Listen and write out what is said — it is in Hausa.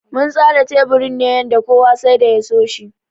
Mun tsara teburin ne yanda kowa sai da ya so shi.